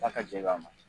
Da ka jɛman